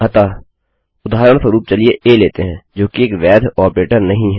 अतः उदाहरणस्वरुप चलिए आ लेते हैं जोकि एक वैध ऑपरेटर नहीं है